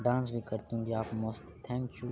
dance भी करते होंगे यहाँ पे मस्त थॅंक यू --